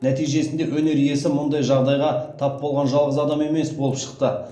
нәтижесінде өнер иесі мұндай жағдайға тап болған жалғыз адам емес болып шықты